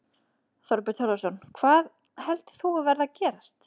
Þorbjörn Þórðarson: Hvað heldur þú að verði að gerast?